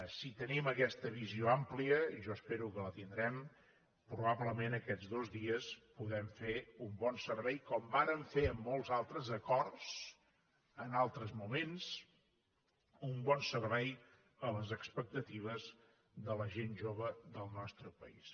si tenim aquesta visió àmplia jo espero que la tindrem probablement aquests dos dies podem fer un bon servei com vàrem fer en molts altres acords en altres moments a les expectatives de la gent jove del nostre país